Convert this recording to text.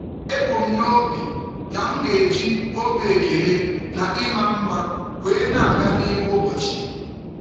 Ebu m n'obi na m ga-eji obi ekele na ịma mma wee na-aga n'ime ụbọchị.